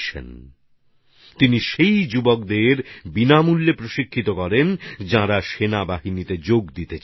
যাঁরা সেনাবাহিনীতে যোগ দিতে চান তিনি সেই যুবকদের বিনামূল্যে প্রশিক্ষণ দেন